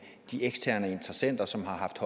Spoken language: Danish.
de eksterne interessenter som har haft